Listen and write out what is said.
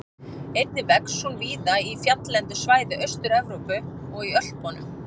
Einnig vex hún víða í fjalllendu svæði Austur-Evrópu og í Ölpunum.